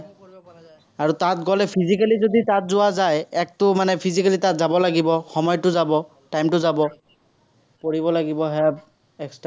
আৰু তাত গ'লে physically যদি তাত যোৱা যায়, একটো মানে physically যাব লাগিব, সময়টো যাব। time টো যাব। পঢ়িব লাগিব এৰ extra কৈ।